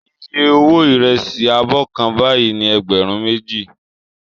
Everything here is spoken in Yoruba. Iye owó ìrẹsì abọ́ kan báyìí ni ẹgbẹ̀rún méjì